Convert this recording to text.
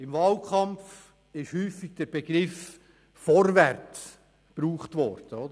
Auch in diesem Wahlkampf – wie schon in früheren – wurde häufig der Begriff «vorwärts» verwendet;